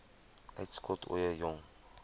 uitskot ooie jong